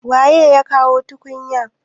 waye ya kawo tukunya?